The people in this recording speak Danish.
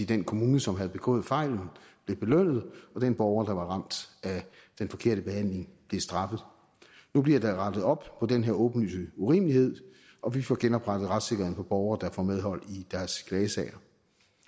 den kommune som havde begået fejlen blev belønnet og den borger der var ramt af den forkerte behandling blev straffet nu bliver der rettet op på den her åbenlyse urimelighed og vi får genoprettet retssikkerheden for borgere der får medhold i deres klagesag